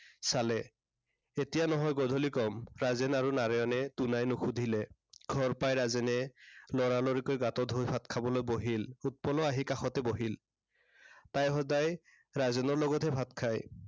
চালে। এতিয়া নহয়, গধূলি কম। ৰাজেন আৰু নাৰায়ণে দুনাই নুসুধিলে। ঘৰ পাই ৰাজেনে, লৰালৰিকৈ গাটো ধুই ভাত খাবলৈ বহিল। উৎপলাও আহি কাষতে বহিল। তাই সদায় ৰাজনেৰ লগতহে ভাত খায়।